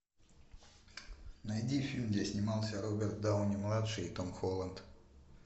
найди фильм где снимался роберт дауни младший и том холланд